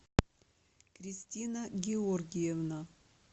кристина георгиевна